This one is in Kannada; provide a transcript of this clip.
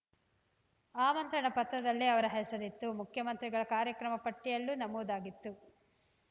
ಆಮಂತ್ರಣ ಪತ್ರದಲ್ಲಿ ಅವರ ಹೆಸರಿತ್ತು ಮುಖ್ಯಮಂತ್ರಿಗಳ ಕಾರ್ಯಕ್ರಮ ಪಟ್ಟಿಯಲ್ಲೂ ನಮೂದಾಗಿತ್ತು